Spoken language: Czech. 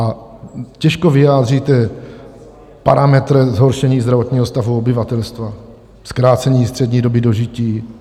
A těžko vyjádříte parametr zhoršení zdravotního stavu obyvatelstva, zkrácení střední doby dožití.